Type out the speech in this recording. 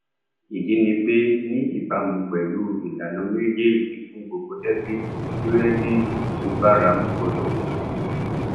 ìdí ni pé ní ìbámu pèlú ìlànà méjèèjì fún gbogbo dẹbìtì kírẹdíìtì tó báramu gbọdọ wà